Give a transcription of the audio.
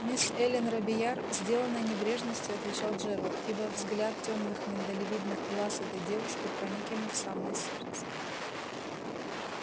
мисс эллин робийяр сделанной небрежностью отвечал джералд ибо взгляд тёмных миндалевидных глаз этой девушки проник ему в самое сердце